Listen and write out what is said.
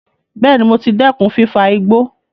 Bẹẹ̀ni, mo ti dẹ́kun fífa igbó